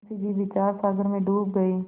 मुंशी जी विचारसागर में डूब गये